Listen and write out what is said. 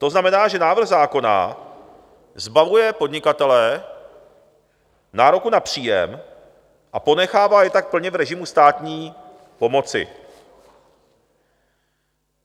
To znamená, že návrh zákona zbavuje podnikatele nároku na příjem a ponechává je tak plně v režimu státní pomoci.